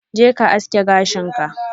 Je ka aske gashin ka!